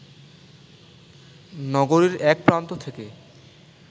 নগরীর এক প্রান্ত থেকে